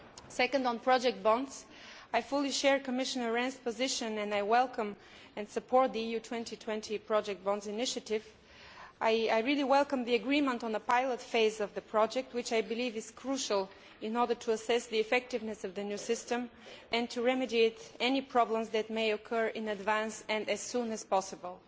Secondly, on project bonds, I fully share Commission Rehn's position and welcome and support the EU 2020 bonds initiative. I welcome the agreement on the pilot phase of the project, which I believe is crucial in order to assess the effectiveness of the new system and to remedy any problems which may occur, in advance and as soon as possible.